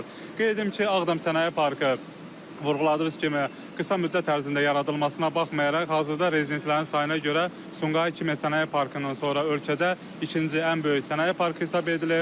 Qeyd edim ki, Ağdam Sənaye Parkı vurğuladığınız kimi qısa müddət ərzində yaradılmasına baxmayaraq, hazırda rezidentlərin sayına görə Sumqayıt Kimya Sənaye Parkından sonra ölkədə ikinci ən böyük Sənaye Parkı hesab edilir.